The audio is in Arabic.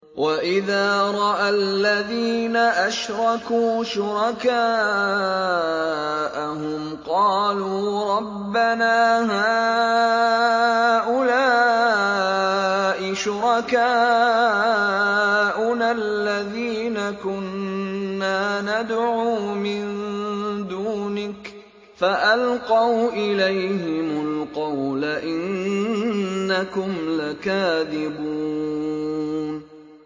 وَإِذَا رَأَى الَّذِينَ أَشْرَكُوا شُرَكَاءَهُمْ قَالُوا رَبَّنَا هَٰؤُلَاءِ شُرَكَاؤُنَا الَّذِينَ كُنَّا نَدْعُو مِن دُونِكَ ۖ فَأَلْقَوْا إِلَيْهِمُ الْقَوْلَ إِنَّكُمْ لَكَاذِبُونَ